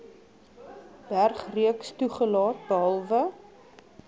bergreeks toegelaat behalwe